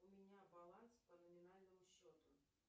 у меня баланс по номинальному счету